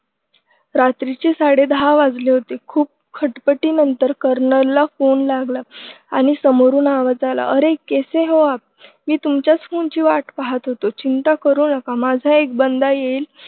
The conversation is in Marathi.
रात्रीचे सडे दहा वाजले होते खूप खटपटीनंतर कर्नलला फोन लागला आणि समोरून आवाज आला. अरे कैसे हो आप मी तुमच्याच फोनची वाट पाहत होतो चिंता करू नका माझा एक बंदा येईल.